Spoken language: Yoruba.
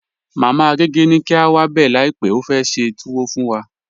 Mama Agẹgẹ ni kí a wá bẹ láípè, ó fẹ́ ṣẹ́ tùwọ̀ fún wà.